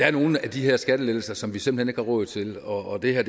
er nogle af de her skattelettelser som vi simpelt hen ikke råd til og det her